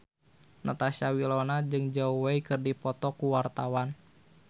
Natasha Wilona jeung Zhao Wei keur dipoto ku wartawan